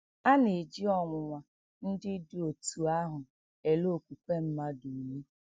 A na - eji ọnwụnwa ndị dị otú ahụ ele okwukwe mmadụ ule.